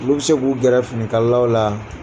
Olu bɛ se k'u gƐrƐ finikalalaw la